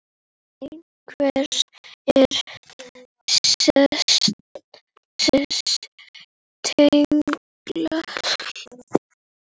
En hver eru þessi tengsl?